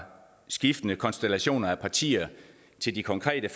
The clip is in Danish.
skiftende konstellationer af partier til de konkrete